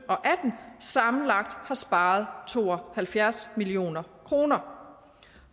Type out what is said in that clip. og atten sammenlagt har sparet to og halvfjerds million kroner